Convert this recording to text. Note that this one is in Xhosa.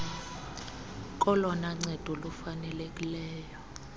kolona ncedo lufanelekileyo